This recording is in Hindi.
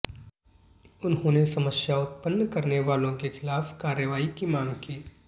उन्होंने समस्या उत्पन्न करने वालों के खिलाफ कार्रवाई की मांग की